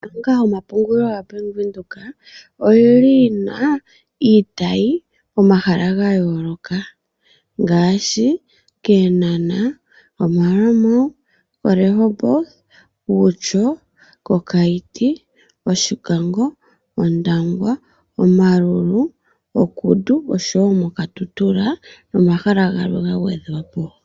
Ombaanga yomapungulilo yoBank Windhoek oyi na iitayi pomahal aga yooloka ngaashi kEeana, Maerua Mall, Rehoboth, Outjo, Okaiti, Oshikango, ondangwa, Omaurur, okudu, Okatutura nomahala galwe ga gwedhwa po.